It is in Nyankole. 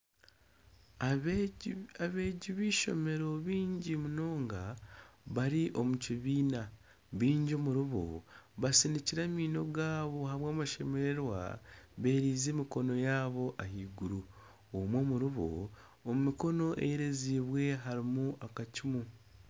Abeegi b'eishomero baingi munonga bari omu kibiina baingi omuriibo basinikire amaino gaabo ahabw'amashemererwa beerize emikono yabo ahaiguru omwe omuriibo omu mikono eyerezibwe harimu akacuumu.